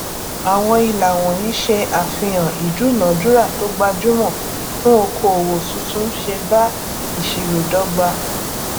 àwọn ìlà wọnyí ṣe àfihàn ìdúnadúràá tó gbajúmọ fún okoòwò tuntun ṣe bá ìṣirò dọgba